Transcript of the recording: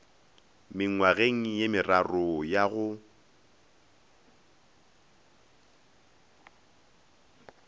mengwageng ye meraro ya go